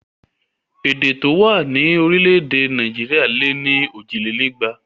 Èdè tó wà ní orílẹ̀ èdè Nàìjíríà lé ní òjìlénígba